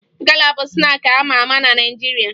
Gala bụ snaakị a ma ama na Naịjirịa